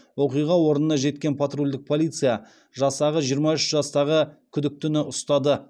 оқиға орнына жеткен патрульдік полиция жасағы жиырма үш жастағы күдіктіні ұстады